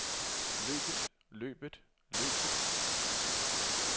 løbet løbet løbet